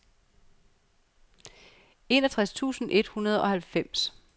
enogtres tusind et hundrede og halvfems